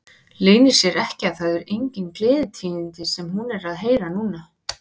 Leynir sér ekki að það eru engin gleðitíðindi sem hún er að heyra núna.